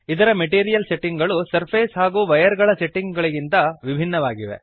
ಇದರ material setting ಗಳು surface ಹಾಗೂ ವೈಯರ್ ಗಳ ಸೆಟ್ಟಿಂಗ್ ಗಳಿಗಿಂತ ವಿಭಿನ್ನವಾಗಿವೆ